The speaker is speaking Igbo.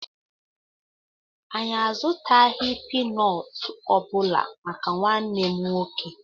Anyị azutaghị pínọọtù obula màkà nwanne m nwoke